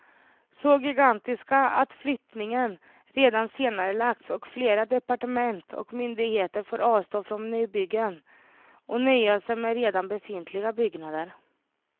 Så gigantiska att flyttningen redan senarelagts och flera departement och myndigheter får avstå från nybyggen och nöja sig med redan befintliga byggnader.